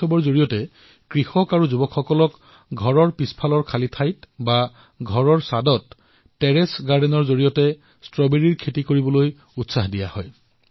এই মহোৎসৱৰ জৰিয়তে কৃষক আৰু যুৱচামক নিজৰ ঘৰৰ পিছফালে খালী ঠাইত অথবা চাঁদত টেৰেচ গাৰ্ডেনত ষ্ট্ৰবেৰীৰ খেতিৰ বাবে উৎসাহিত কৰা হৈছে